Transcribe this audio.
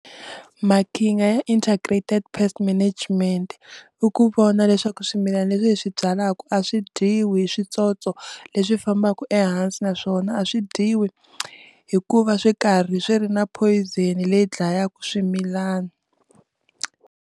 Maqhinga ya Integrated Pest Management i ku vona leswaku swimilana leswi leswi byalaka a swi dyiwi hi switsotso leswi fambaka ehansi naswona a swi dyiwi hikuva swi karhi swi ri na poison leyi dlayaka swimilana.